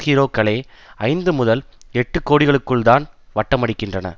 ஹீரோக்களே ஐந்து முதல் எட்டு கோடிகளுக்குள்தான் வட்டமடிக்கின்றனர்